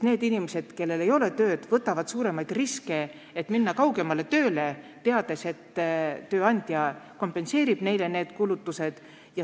Need inimesed, kellel ei ole tööd, võtavad suuremaid riske, minnes kaugemale tööle, teades, et tööandja kompenseerib neile need kulutused.